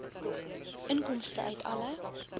inkomste uit alle